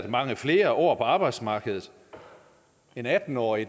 mange flere år på arbejdsmarkedet en atten årig